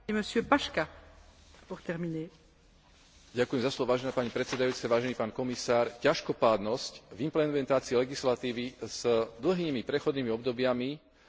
Ťažkopádnosť v implementácii legislatívy s dlhými prechodnými obdobiami bez dôrazu na vymoženie súladu v aplikačnej praxi vytvára priestor pre rôznych podvodníkov.